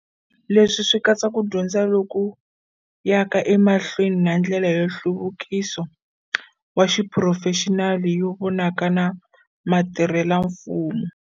Leswi swi katsa ku dyondza loku yaka emahlweni na ndlela ya nhluvu kiso wa xiphurofexinali yo vonaka ya mutirhelamfumo